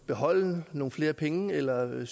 beholde nogle flere penge eller om man